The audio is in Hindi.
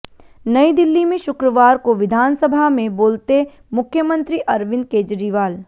नयी दिल्ली में शुक्रवार को विधानसभा में बोलेते मुख्यमंत्री अरविंद केजरीवाल